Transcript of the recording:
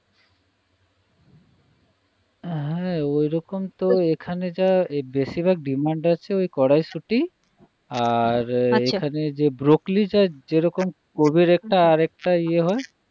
হ্যাঁ ঐরকম তো এখানে যা বেশিরভাগ demand আছে ওই কড়াইশুঁটি আর আচ্ছা এখানে যে ব্রোকলি যা যেরকম . একটা আর একটা ইয়ে হয়